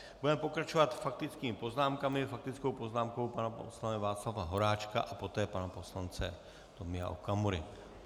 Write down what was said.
Budeme pokračovat faktickými poznámkami - faktickou poznámkou pana poslance Václava Horáčka a poté pana poslance Tomia Okamury.